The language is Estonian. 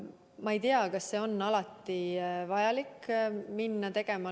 Ma ei tea, kas on alati vaja neid teha.